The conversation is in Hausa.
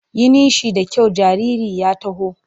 Yi nishi da kyau jaririn ya taho!